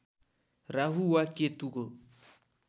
राहु वा केतुको